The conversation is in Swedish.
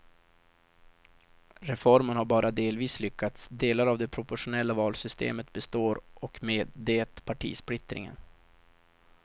Reformen har bara delvis lyckats, delar av det proportionella valsystemet består och med det partisplittringen.